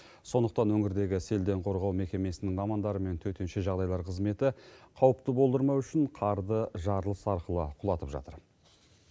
сондықтан өңірдегі селден қорғау мекемесінің мамандары мен төтенше жағдайлар қызметі қауіпті болдырмау үшін қарды жарылыс арқылы құлатып жатыр